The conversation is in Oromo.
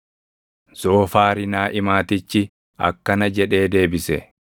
Zoofaari Naaʼimaatichi akkana jedhee deebise: